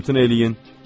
İmtina eləyin!